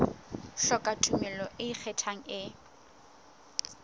hloka tumello e ikgethang e